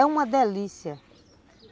É uma delícia.